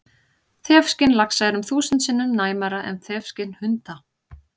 Þefskyn laxa er um þúsund sinnum næmara en þefskyn hunda!